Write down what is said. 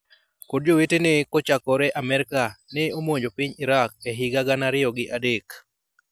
kod jowetene kochakore Amerka ne omanjo piny Iraq e higa gana ariyo gi adek.